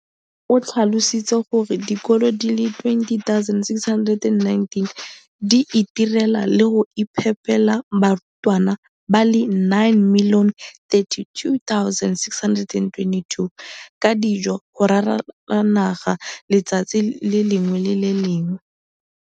O tlhalositse gore dikolo di le 20 619 di itirela le go iphepela barutwana ba le 9 032 622 ka dijo go ralala naga letsatsi le lengwe le le lengwe.